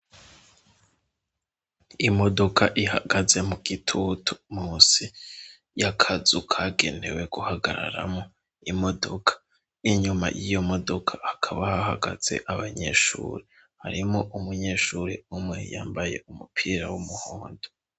Imodoka ihagaze mu gitutu munsi y'akazu kagenewe guhagararamwo imodoka. Inyuma y'iyo modoka hakaba hahagaze abanyeshuri harimwo umunyeshuri umwe yambaye umupira w'umuhondo.